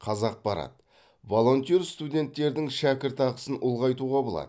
қазақпарат волонтер студенттердің шәкіртақысын ұлғайтуға болады